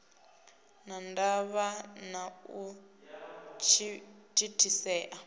na ndavha na u thithisea